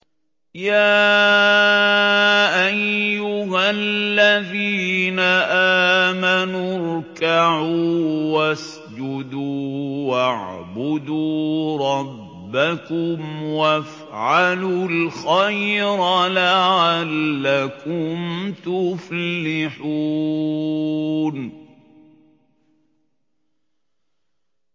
يَا أَيُّهَا الَّذِينَ آمَنُوا ارْكَعُوا وَاسْجُدُوا وَاعْبُدُوا رَبَّكُمْ وَافْعَلُوا الْخَيْرَ لَعَلَّكُمْ تُفْلِحُونَ ۩